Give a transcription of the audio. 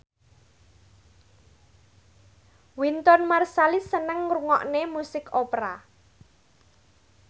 Wynton Marsalis seneng ngrungokne musik opera